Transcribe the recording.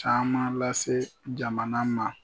Caman lase jamana ma.